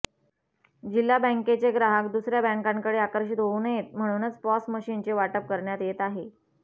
जिल्हा बँकेचे ग्राहक दुसऱया बँकांकडे आकर्षीत होवू नयेत म्हणूनच पॉस मशिनचे वाटप करण्यात येत आहे